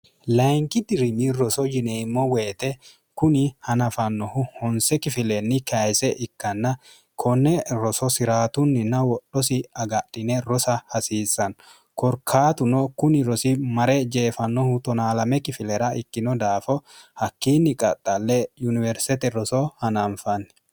layinki dirinyi roso yineemmo weyite kuni hanafannohu honse kifileenni kayise ikkanna konne roso si'raatunninna wodhosi agadhine rosa hasiissanno korkaatuno kuni rosi mare jeefannohu 12 kifilera ikkino daafo hakkiinni qaxxalle yuniwersete roso hanaanfanni